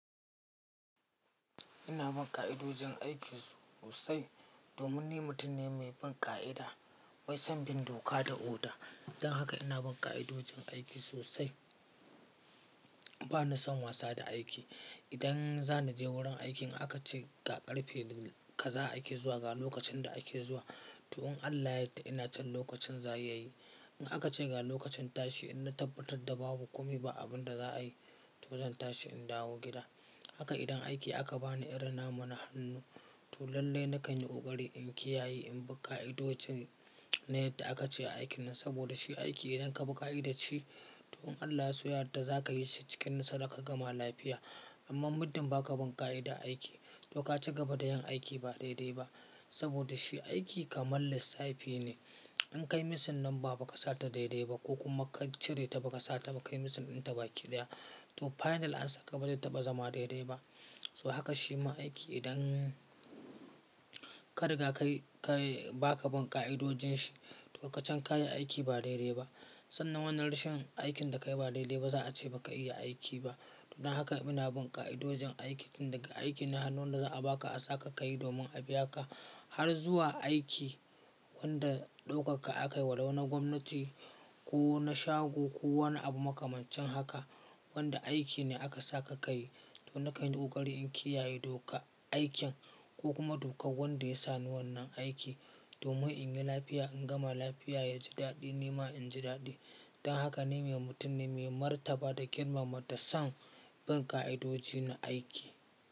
Ina bin ƙa'idojin aiki sosai, domin ni mutum ne mai bin ƙa'ida, mai son bin doka da oda. Dan haka ina bin ƙa'idojin aiki sosai. Ba ni son wasa da aiki. Idan za ni je wurin aiki in aka ce ga ƙarfe kaza ake zuwa, ga lokacin da ake zuwa, tuhun Allah ya yarda ina can lokacin zaya yi. In aka ce ga lokacin tashi, idan na tabbatar da babu komi ba abin da za a yi, to zan tashi in dawo gida. Haka idan aiki aka ba ni irin namu na hannu, to lallai na kan yi ƙoƙari in kiyaye in bi ƙa'idojin ne da aka ce a aikin nan. Saboda shi aiki idan ka bi ƙa'idar shi, toh Allah ya so ya yarda za ka yi shi cikin nasara ka gama lafiya. Amma mutumin ba ka bin ƙa'ida a aiki, to ka ci gaba da yin aiki ba daidai ba. Saboda shi aiki kamar lissafi ne. In kai misalin nan ba ka sata daidai ba ko kuma ka cire ta ba ka sata ba kai misalin in ta baki ɗaya, to final ansan ka bazai taɓa zama daidai ba. To haka shi ma aiki idan ka riga ka yi ba ka bin ƙa'idojin shi, to ka can ka yi aiki ba daidai ba. Sannan wannan rashin aikin da ka yi ba daidai ba za a ce ba ka iya aiki ba. Dan haka ina bin ƙa'idojin aiki tun daga aiki na hannun da za a ba ka a saka ka yi domin a biya ka, har zuwa aiki wanda ɗaukarka aka yi walau na gwamnati ko na shago ko wani abu makamancin haka wanda aiki ne aka saka ka yi. To na kan yi ƙoƙari in kiyaye doka aikin ko kuma dokar wanda ya sa ni wannan aiki domin in yi lafiya, in gama lafiya, ya ji daɗi ni ma in ji daɗi. Dan haka ni mai mutum ne mai martaba da girmama da son bin ƙa'idoji na aiki.